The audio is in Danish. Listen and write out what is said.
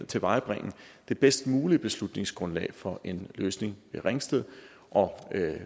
tilvejebringe det bedst mulige beslutningsgrundlag for en løsning ved ringsted og